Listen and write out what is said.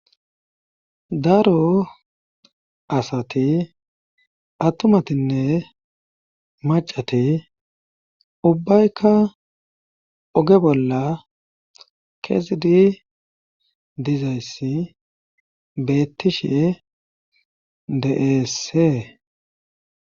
daro asati attumatinne macati ubbaykka oge bolla kesidi dizayssi beettishe deeessee